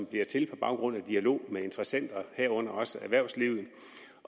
blive til på baggrund af en dialog med interessenterne herunder også erhvervslivet